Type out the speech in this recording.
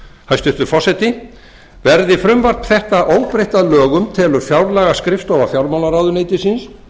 hæstvirtur forseti verði frumvarp þetta óbreytt að lögum telur fjárlagaskrifstofa fjármálaráðuneytisins